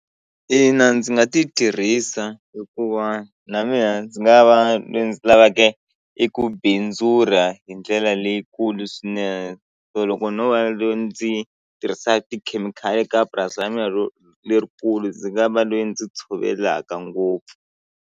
Ina ndzi nga ti tirhisa hikuva na mina ndzi nga va loyi ndzi lavaka i ku bindzula hi ndlela leyikulu swinene so loko no va leyi ndzi tirhisaka tikhemikhali ka purasi ra mina ro lerikulu ndzi nga va loyi ndzi tshovelaka ngopfu.